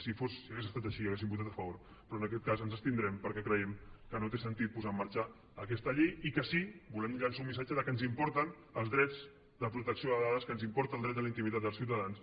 si hagués estat així hi hauríem votat a favor però en aquest cas ens abstindrem perquè creiem que no té sentit posar en marxa aquesta llei i que sí que volem llançar un missatge que ens importen els drets de protecció de dades que ens importa el dret a la intimitat dels ciutadans